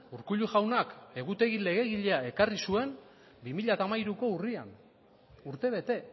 urkullu jaunak egutegi legegilea ekarri zuen bi mila hamairuko urrian urtebete